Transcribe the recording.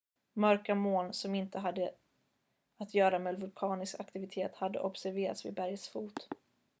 mörka moln som inte hade att göra med vulkanisk aktivitet hade observerats vid bergets fot